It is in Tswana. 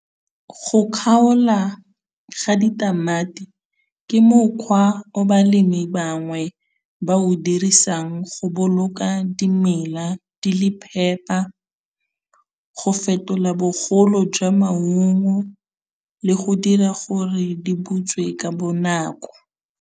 Go kgaola ga ditamati ke mokgwa o balemi bangwe ba o dirisang go boloka dimela di le phepa, go fetola bogolo jwa maungo le go dira gore di butswe ka bonako.